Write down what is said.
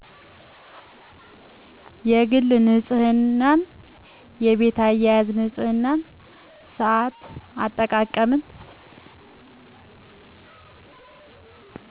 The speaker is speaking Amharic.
የግል ንፅህና የቤት አያያዝ ንፅህና ሳአት አጠቃቀም